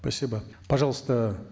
спасибо пожалуйста